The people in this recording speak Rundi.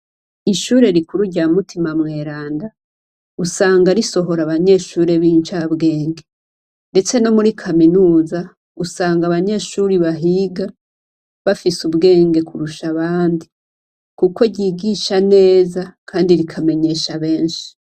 Ishure rikuru rya Mutima Mweranda, usanga risohora abanyeshure b' incabwenge. Ndetse no muri kaminuza, usanga abanyeshuri bahiga bafise ubwenge kurusha abandi. Kuko ryigisha neza kandi rikamenyesha benshi.